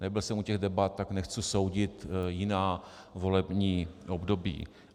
Nebyl jsem u těch debat, tak nechci soudit jiná volební období.